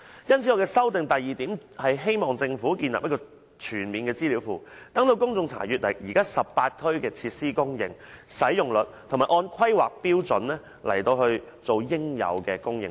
因此，我修正案的第二項，是希望政府建立一個全面的資料庫，讓公眾查詢現時18區的設施供應和使用率，以及按《規劃標準》來提供應有的供應量。